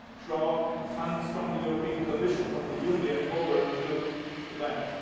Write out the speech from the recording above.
not draw funds from the European Commission, from the Union, over to the Bank.